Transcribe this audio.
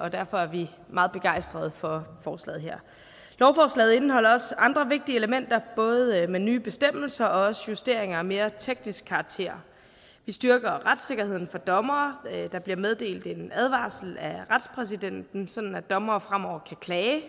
og derfor er vi meget begejstrede for forslaget her lovforslaget indeholder også andre vigtige elementer både med nye bestemmelser og også justeringer af mere teknisk karakter vi styrker retssikkerheden for dommere der bliver meddelt en advarsel af retspræsidenten sådan at dommere fremover kan klage